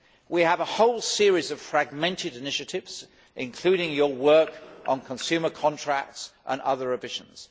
We have a whole series of fragmented initiatives, including your work on consumer contracts, and other revisions.